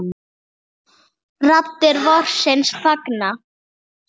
Raddir vorsins fagna.